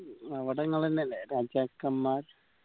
അവട ഇങ്ങളെന്നെല്ലേ രാജാക്കന്മാർ